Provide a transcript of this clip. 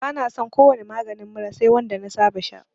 Bani son ko wani maganin mura sai wanda na saba sha